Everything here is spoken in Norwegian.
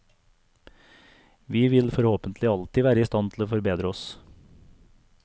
Vi vil forhåpentlig alltid være i stand til å forbedre oss.